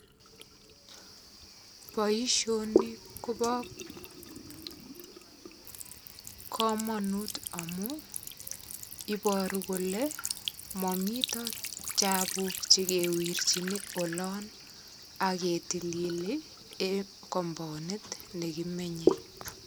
Boisioni kobo kamanut amu ibaru kole mamito chapuk chegewirchini olon ak ketilili eng kompounit negimenye.